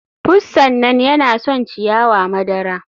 Pussan nan yana son ciyawa madara.